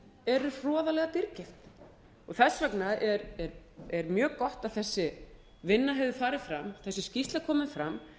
eru hroðalega dýrkeypt þess vegna er mjög gott að þessi vinna hefur farið fram þessi skýrsla komin fram